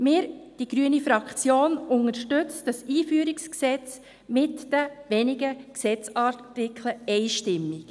Wir, die grüne Fraktion, unterstützen dieses Einführungsgesetz mit den wenigen Gesetzesartikeln einstimmig.